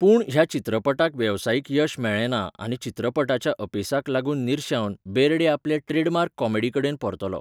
पूण, ह्या चित्रपटाक वेवसायीक यश मेळ्ळेंना आनी चित्रपटाच्या अपेसाक लागून निर्शेवन, बेर्डे आपले ट्रेडमार्क कॉमेडीकडेन परतलो.